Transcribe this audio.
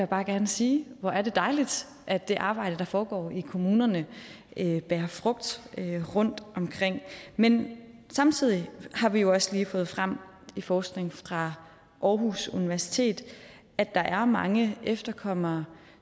bare gerne sige hvor er det dejligt at det arbejde der foregår i kommunerne bærer frugt rundtomkring men samtidig har vi jo også lige fået frem i forskning fra aarhus universitet at der er mange efterkommere